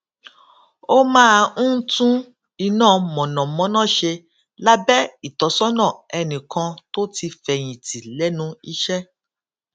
ó máa ń tún iná mànàmáná ṣe lábé ìtósónà ẹnì kan tó ti fèyìn tì lénu iṣé